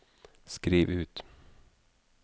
skriv ut